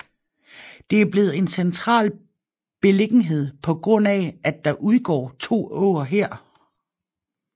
Det er blevet en central beliggenhed pga at der udgår to åer her